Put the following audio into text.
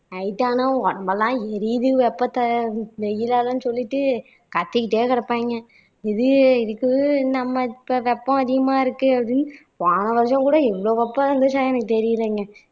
night ஆன உடம்பெல்லாம் எரியுது வெப்பத்த வெயிலாலன்னு சொல்லிட்டு கத்திக்கிட்டே கிடப்பாங்க இது இதுக்கு இல்லாம இப்போ வெப்பம் அதிகமா இருக்கு அப்படின்னு போன வருஷம் கூட இருந்துச்சா எனக்கு தெரியலங்க